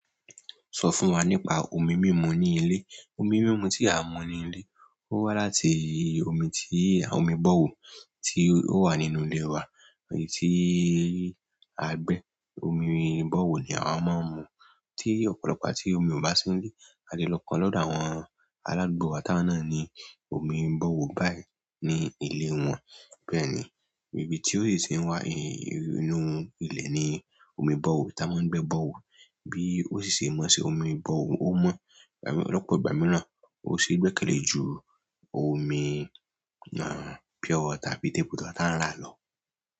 Sọ fún wa nípa omi mímu ní ilé. Omi mímu tí a ń mú ní ilé, ó wá láti omi tí, omi borehole tí ó wà nínú ilé wa, èyí tí a gbẹ́. Omi borehole ni àwa máa ń mú. Tí ọ̀pọ̀lọpọ̀ tí omi ò bá sí nílé, a ti lọ kan lọ́dọ̀ àwọn aládùúgbò àwọn táńnú náà ní omi borehole báyìí ní ilé wọn. Bẹ́ẹ̀ni, ibi tí ó sì ti ń wá ni inú ilẹ̀ ni omi borehole, táa bá ń gbẹ́ borehole omi pure water tàbí table water tí a ń rà lọ.